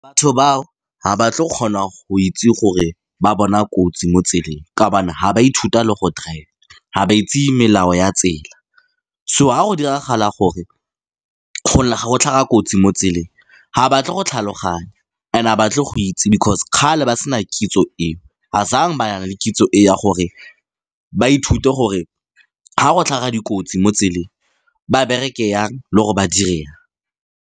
Batho bao ga ba tlo go kgona go itse gore ba bona kotsi mo tseleng, kao bana ha ba ithuta le go drive-a ga ba itse melao ya tsela. So ga go diragala gore go tlhaga kotsi mo tseleng. Ha batle go tlhaloganya and ga ba tlo go itse because kgale ba sena kitso eo. ba na le kitso eo ya gore ba ithute gore ga go tlhaga dikotsi mo tseleng ba bereke yang le gore ba dire eng.